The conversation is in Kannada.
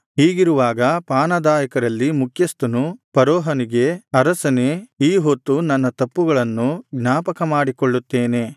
ಹೀಗಿರುವಾಗ ಪಾನದಾಯಕರಲ್ಲಿ ಮುಖ್ಯಸ್ಥನು ಫರೋಹನಿಗೆ ಅರಸನೇ ಈ ಹೊತ್ತು ನನ್ನ ತಪ್ಪುಗಳನ್ನು ಜ್ಞಾಪಕ ಮಾಡಿಕೊಳ್ಳುತ್ತೇನೆ